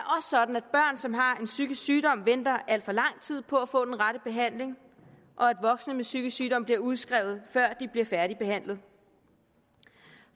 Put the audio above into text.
sådan at børn som har en psykisk sygdom venter al for lang tid på at få den rette behandling og at voksne med psykisk sygdom bliver udskrevet før de bliver færdigbehandlet